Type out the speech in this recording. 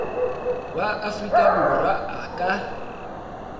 wa afrika borwa a ka